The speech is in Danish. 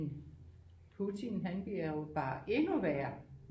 Putin han bliver jo bare endnu værre